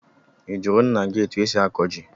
I jụrụ nna gị etu e si akọ ji?